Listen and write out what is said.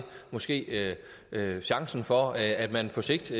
måske chancen for at man på sigt